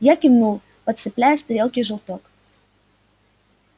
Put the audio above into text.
я кивнул подцепляя с тарелки желток